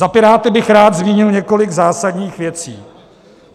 Za Piráty bych rád zmínil několik zásadních věcí.